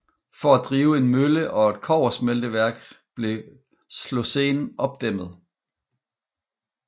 For at drive en mølle og et kobbersmelteværk blev Slocene opdæmmet